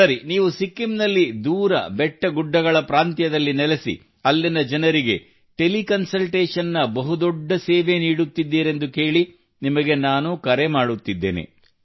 ಸರಿ ನೀವು ಸಿಕ್ಕಿಂನಲ್ಲಿ ದೂರ ಬೆಟ್ಟಗುಡ್ಡಗಳ ಪ್ರಾಂತ್ಯದಲ್ಲಿ ನೆಲೆಸಿ ಅಲ್ಲಿನ ಜನರಿಗೆ ಟೆಲಿ ಕನ್ಸಲ್ಟೇಷನ್ ನ ಬಹು ದೊಡ್ಡ ಸೇವೆ ನೀಡುತ್ತೀರೆಂದು ಕೇಳಿ ನಿಮಗೆ ನಾನು ಕರೆ ಮಾಡುತ್ತಿದ್ದೇನೆ